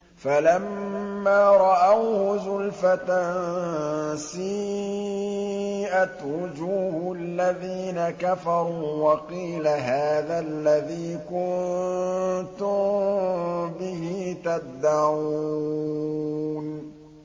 فَلَمَّا رَأَوْهُ زُلْفَةً سِيئَتْ وُجُوهُ الَّذِينَ كَفَرُوا وَقِيلَ هَٰذَا الَّذِي كُنتُم بِهِ تَدَّعُونَ